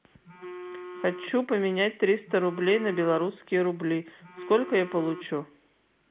хочу поменять триста рублей на белорусские рубли сколько я получу